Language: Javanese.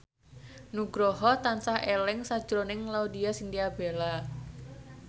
Nugroho tansah eling sakjroning Laudya Chintya Bella